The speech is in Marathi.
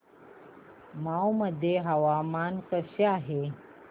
मौ मध्ये हवामान कसे आहे